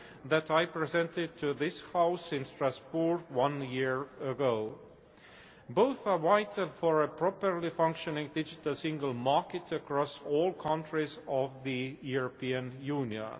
that I presented to this House in Strasbourg one year ago. Both are vital for a properly functioning Digital Single Market across all countries of the European Union.